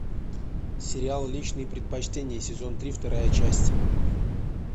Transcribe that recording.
сериал личные предпочтения сезон три вторая часть